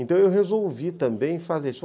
Então eu resolvi também fazer isso.